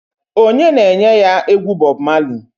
Onye na-enye ya egwu Bob Marley?